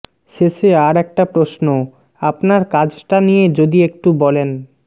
শেষে আর একটা প্রশ্ন আপনার কাজটা নিয়ে যদি একটু বলেন